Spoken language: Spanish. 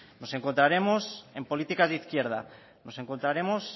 nos encontraremos en políticas de izquierdas nos encontraremos